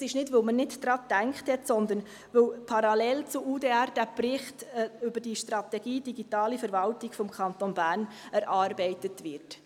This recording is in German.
Nicht, weil man nicht daran gedacht hat, sondern weil der Bericht «Strategie Digitale Verwaltung des Kantons Bern» parallel zu UDR erarbeitet wird.